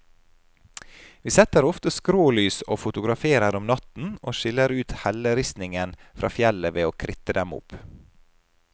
Vi setter ofte skrålys og fotograferer om natten, og skiller ut helleristningen fra fjellet ved å kritte dem opp.